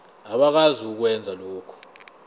abakwazi ukwenza lokhu